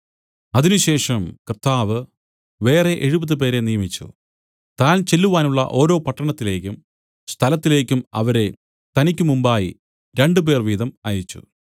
അതിന് ശേഷം കർത്താവ് വേറെ എഴുപത് പേരെ നിയമിച്ചു താൻ ചെല്ലുവാനുള്ള ഓരോ പട്ടണത്തിലേക്കും സ്ഥലത്തിലേക്കും അവരെ തനിക്കുമുമ്പായി രണ്ടുപേർ വീതം അയച്ചു